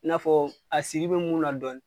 I n'a fɔ asidi bɛ mun na dɔɔni.